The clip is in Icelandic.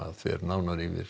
fer nánar yfir